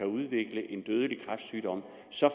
udvikle en dødelig kræftsygdom så